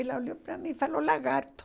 Ela olhou para mim e falou, lagarto.